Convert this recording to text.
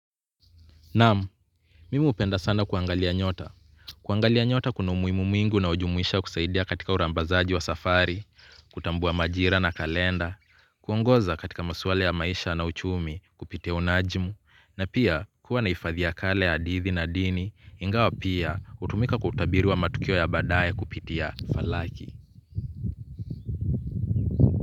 Naam, mimi hupenda sana kuangalia nyota. Kuangalia nyota kuna umuimu mwingi unaojumuisha kusaidia katika urambazaji wa safari, kutambua majira na kalenda, kuongoza katika maswali ya maisha na uchumi kupitia unajmu, na pia kuwa na hifadhi ya kale ya hadithi na dini, ingawa pia hutumika kwa utabiri matukio ya baadaye kupitia falaki.